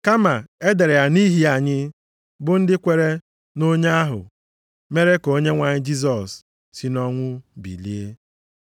Kama e dere ya nʼihi anyị bụ ndị kwere nʼonye ahụ mere ka Onyenwe anyị Jisọs si nʼọnwụ bilie.